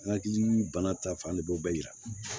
Nakili bana ta fan de bɛ o bɛɛ yira